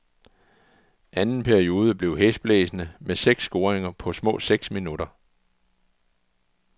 Anden periode blev hæsblæsende med seks scoringer på små seks minutter.